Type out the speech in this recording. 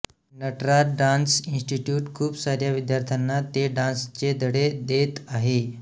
Nataraj dance institute खूप साऱ्या विद्यार्थ्यांना ते डान्स चे धडे देत आहे